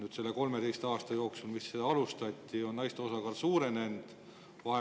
Kas selle 13 aasta jooksul, kui seda alustati, on naiste osakaal suurenenud?